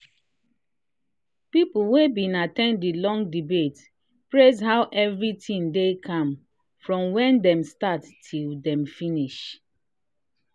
people wey been at ten d the long debate praise how everything dey calm from when dem start till dem finish.